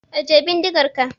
Ajiye bindigar ka!